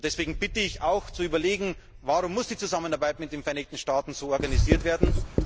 Deswegen bitte ich auch zu überlegen Warum muss die Zusammenarbeit mit den Vereinigten Staaten so organisiert werden?